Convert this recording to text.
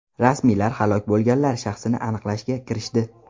Rasmiylar halok bo‘lganlar shaxsini aniqlashga kirishdi.